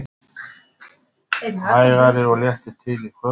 Hægari og léttir til í kvöld